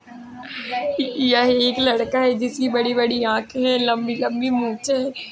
यह एक लड़का हैं। जिसकी बड़ी-बड़ी आंखे हैं। लंबी-लंबी मुछे हैं।